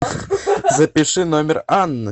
запиши номер анны